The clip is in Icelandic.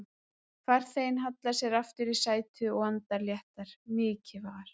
Farþeginn hallar sér aftur í sætið, og andar léttar, mikið var!